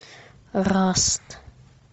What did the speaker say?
раст